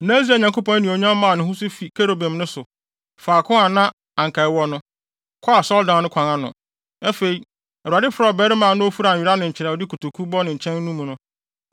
Na Israel Nyankopɔn anuonyam maa ne ho so fi kerubim no so, faako a na anka ɛwɔ no, kɔɔ asɔredan no kwan ano. Afei Awurade frɛɛ ɔbarima a na ofura nwera na nkyerɛwde kotoku bɔ ne nkyɛn mu no